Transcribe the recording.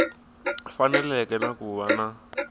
faneleke na ku va na